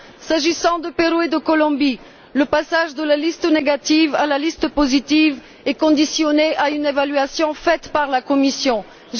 S'agissant du Pérou et de la Colombie, le passage de la liste négative à la liste positive est conditionné à une évaluation faite par la Commission européenne.